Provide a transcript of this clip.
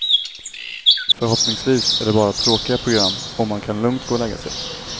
Förhoppningsvis är det bara tråkiga program och man kan lugnt gå och lägga sig.